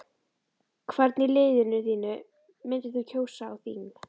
Hvern í liðinu þínu myndir þú kjósa á þing?